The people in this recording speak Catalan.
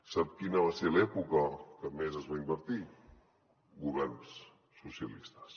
sap quina va ser l’època en què més es va invertir governs socialistes